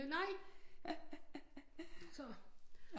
Nej så